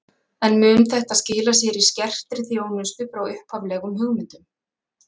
En mun þetta skila sér í skertri þjónustu frá upphaflegum hugmyndum?